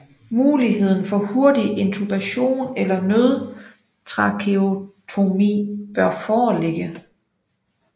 Muligheden for hurtig intubation eller nødtracheotomi bør foreligge